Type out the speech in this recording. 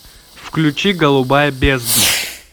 включи голубая бездна